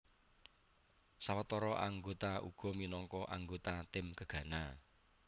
Sawetara anggota uga minangka anggota tim Gegana